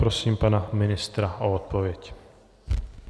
Prosím pana ministra o odpověď.